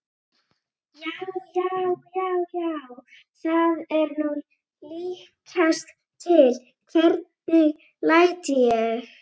JÁ, JÁ, JÁ, JÁ, ÞAÐ ER NÚ LÍKAST TIL, HVERNIG LÆT ÉG!